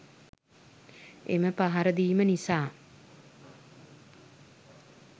එම පහර දීම නිසා